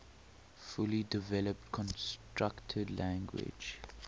fully developed constructed language